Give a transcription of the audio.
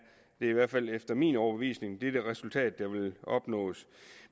i hvert fald efter min overbevisning det resultat der vil opnås